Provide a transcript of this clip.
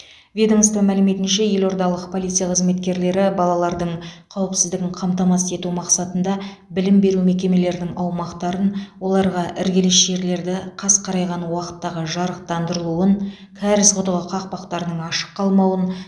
ведомство мәліметінше елордалық полиция қызметкерлері балалардың қауіпсіздігін қамтамасыз ету мақсатында білім беру мекемелерінің аумақтарын оларға іргелес жерлерді қас қарайған уақыттағы жарықтандырылуын кәріз құдығы қақпақтарының ашық қалмауын